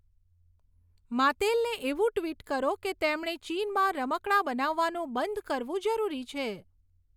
માત્તેલને એવું ટ્વિટ કરો કે તેમણે ચીનમાં રમકડાં બનાવવાનું બંધ કરવું જરૂરી છે